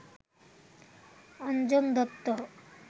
Anjan Dutta